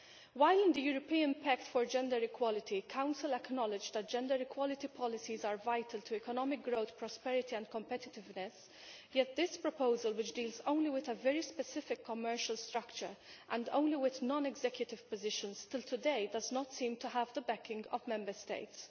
While in the European Pact for Gender Equality the Council acknowledged that gender equality policies are vital to economic growth, prosperity and competitiveness, yet this proposal which deals only with a very specific commercial structure and only with non executive positions still today does not seem to have the backing of Member States.